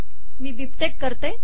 मी BibTeX करते